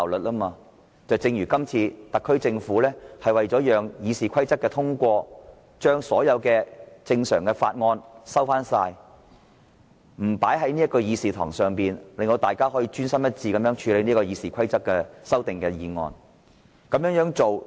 舉例來說，今次特區政府為了讓《議事規則》的修訂建議獲得通過，便把所有正常法案撤回，不列入議程，讓立法會可專心一致處理修訂《議事規則》的擬議決議案。